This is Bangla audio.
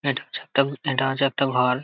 এটা হচ্ছে একটা ভুতের দরজা একটা ঘর ।